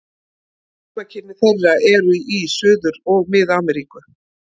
Heimkynni þeirra eru í Suður- og Mið-Ameríku.